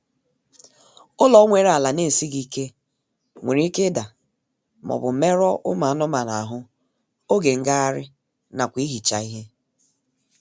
Ụlọ nwere ala na-esịghị ike nwere ike ida maọbụ merụọ ụmụ anụmanụ ahụ oge ngagharị nakwa ihicha ihe